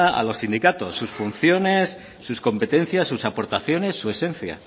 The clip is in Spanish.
a los sindicatos sus funciones sus competencias sus aportaciones su esencia